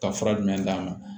Ka fura jumɛn d'a ma